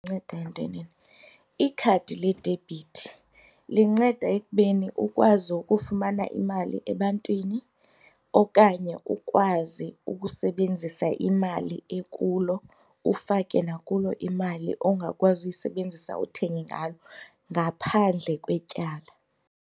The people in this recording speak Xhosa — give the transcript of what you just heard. Inceda entwenini? Ikhadi ledebhithi linceda ekubeni ukwazi ukufumana imali ebantwini okanye ukwazi ukusebenzisa imali ekulo ufake nakulo imali ongakwazi uyisebenzisa uthenge ngalo ngaphandle kwetyala.